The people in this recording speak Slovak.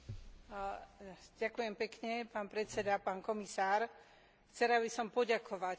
Chcela by som poďakovať kolegovi Belderovi za návrh vyváženej správy o Číne.